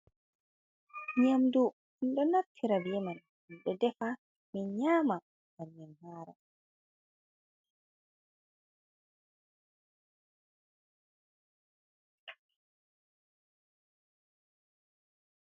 Ɲƴamdu minɗo naftira be man, minɗo defa, min nyama ngam min haara.